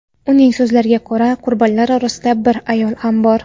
Uning so‘zlariga ko‘ra, qurbonlar orasida bir ayol ham bor.